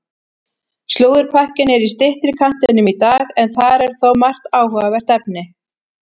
Slúðurpakkinn er í styttri kantinum í dag en þar er þó margt áhugavert efni.